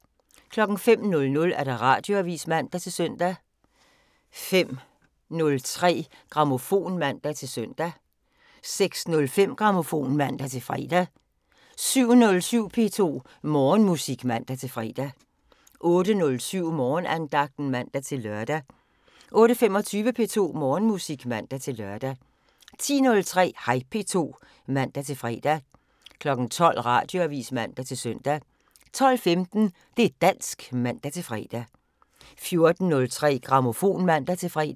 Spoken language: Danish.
05:00: Radioavisen (man-søn) 05:03: Grammofon (man-søn) 06:05: Grammofon (man-fre) 07:07: P2 Morgenmusik (man-fre) 08:07: Morgenandagten (man-lør) 08:25: P2 Morgenmusik (man-lør) 10:03: Hej P2 (man-fre) 12:00: Radioavisen (man-søn) 12:15: Det' dansk (man-fre) 14:03: Grammofon (man-fre)